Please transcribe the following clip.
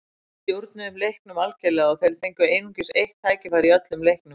Við stjórnuðum leiknum algerlega og þeir fengu einungis eitt tækifæri í öllum leiknum.